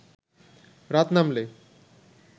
রাত নামলে